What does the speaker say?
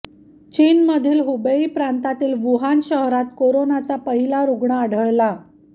चीनमधील हुबेई प्रांतातील वुहान शहरात कोरोनाचा पहिला रुग्ण आढळला